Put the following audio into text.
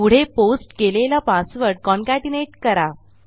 पुढे पोस्ट केलेला password concatenate करा